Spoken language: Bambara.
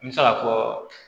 N bɛ se ka fɔ